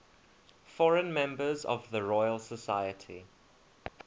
foreign members of the royal society